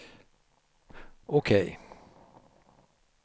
OK